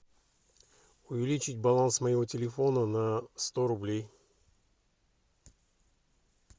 увеличить баланс моего телефона на сто рублей